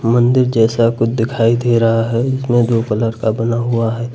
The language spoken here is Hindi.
मंदिर जैसा कुछ दिखाई दे रहा है इसमें दो कलर का बना हुआ है।